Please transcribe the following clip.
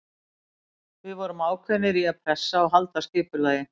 Við vorum ákveðnir í að pressa og halda skipulagi.